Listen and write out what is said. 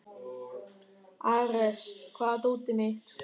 Ares, hvar er dótið mitt?